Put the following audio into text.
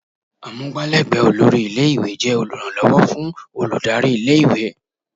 Amugbalegbe olórí ilé-ìwé jẹ́ oluranlowo fún olùdarí ilé-ìwé.